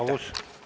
Aeg saabus.